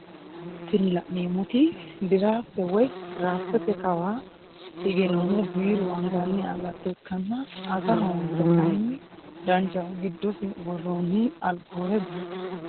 Tini la'neemoti dirafte woye diraftete kawaa hige noohu biiru anganni agatto ikkanna aga hongiro kayiinni danchaho giddosi worooni alkoole bushate.